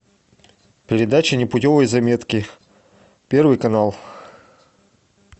передача непутевые заметки первый канал